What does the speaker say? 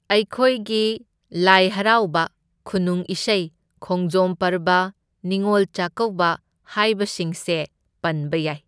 ꯑꯩꯈꯣꯏꯒꯤ ꯂꯥꯏ ꯍꯔꯥꯎꯕ, ꯈꯨꯅꯨꯡ ꯏꯁꯩ, ꯈꯣꯡꯖꯣꯝ ꯄꯔꯕ, ꯅꯤꯡꯉꯣꯜ ꯆꯥꯀꯧꯕ ꯍꯥꯏꯕꯁꯤꯡꯁꯦ ꯄꯟꯕ ꯌꯥꯏ꯫